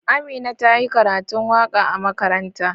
Amina ta yi karatun waka a makaranta.